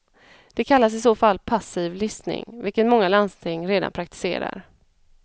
Det kallas i så fall passiv listning, vilket många landsting redan praktiserar.